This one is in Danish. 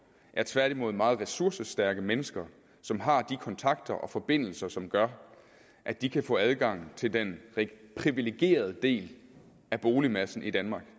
er tværtimod meget ressourcestærke mennesker som har de kontakter og forbindelser som gør at de kan få adgang til den privilegerede del af boligmassen i danmark